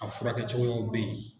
A furakɛ cogoyaw bɛ yen